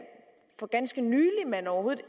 for ganske nylig man overhovedet